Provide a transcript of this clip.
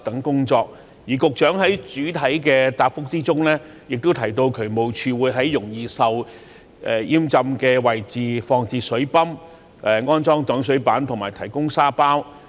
局長在主體答覆中也提到渠務署會在容易淹浸的位置放置水泵、安裝擋水板及提供沙包。